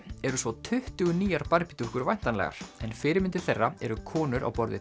eru svo tuttugu nýjar dúkkur væntanlegar en fyrirmyndir þeirra eru konur á borð við